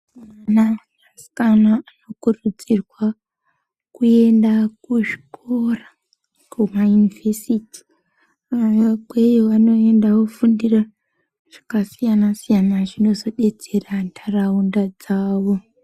Vanasikana vanokurudzirwa kuenda kuzvikora kumayunivhesiti. Ikweyo vanoenda vofundire zvakasiyana-siyana zvinozodetsera ntaraunda dzavo.